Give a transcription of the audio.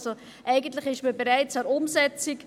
Also: Eigentlich ist man bereits an der Umsetzung.